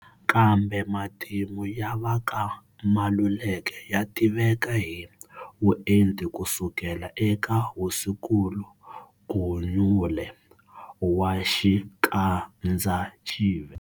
Kambe matimu ya va ka Maluleke ya tiveka hi vuenti ku sukela eka Hosinkulu Gunyule, wa Xikandzaxive.